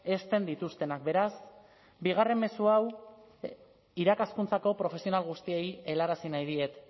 hezten dituztenak beraz bigarren mezu hau irakaskuntzako profesional guztiei helarazi nahi diet